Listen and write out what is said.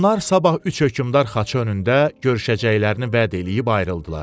Onlar sabah üç hökmdar xaçı önündə görüşəcəklərini vəd eləyib ayrıldılar.